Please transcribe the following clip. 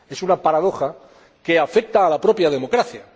Es una paradoja que afecta a la propia democracia.